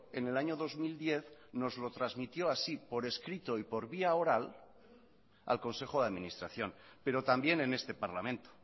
en el año dos mil diez nos lo transmitió así por escrito y por vía oral al consejo de administración pero también en este parlamento